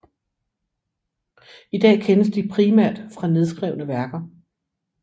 I dag kendes de primært fra nedskrevne værker